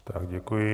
Tak děkuji.